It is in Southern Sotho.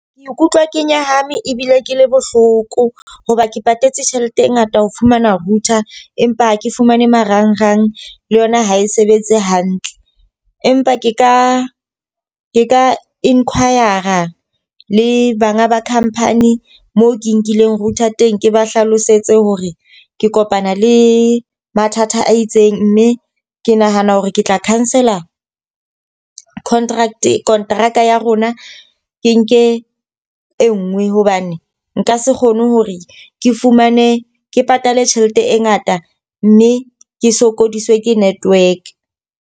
Ke ikutlwa ke nyahame ebile ke le bohloko. Hoba ke patetse tjhelete e ngata ho fumana router, empa ha ke fumane marangrang le yona ha e sebetse hantle. Empa ke ka ke ka inquire a le banga ba khamphani mo ke nkileng router teng, ke ba hlalosetse hore ke kopana le mathata a itseng. Mme ke nahana hore ke tla cancel contract, kontraka ya rona ke nke e nngwe hobane nka se kgone hore ke fumane ke patale tjhelete e ngata mme ke sokodiswe ke network.